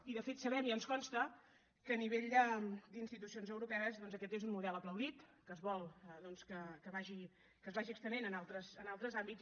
i de fet sabem i ens consta que a nivell d’institucions europees doncs aquest és un model aplaudit que es vol que es vagi estenent en altres àmbits